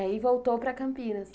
E aí voltou para Campinas.